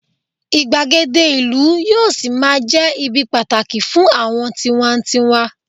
igbagede ìlú yíò sí ma je ibi pàtàkì fún àwọn tiwantiwa